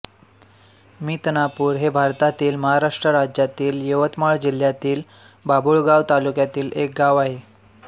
मितनापूर हे भारतातील महाराष्ट्र राज्यातील यवतमाळ जिल्ह्यातील बाभुळगाव तालुक्यातील एक गाव आहे